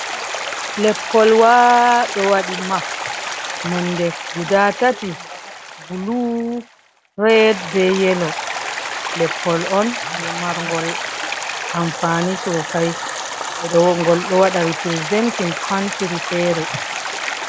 Leppolwaa ɗo waɗi map, nonde guda tati, bulu, red bee yelo, Leppol on jey margol amfani soosay, ngol ɗo waɗa representin countiry feere.